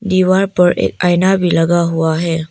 दीवार पर एक आईना भी लगा हुआ है।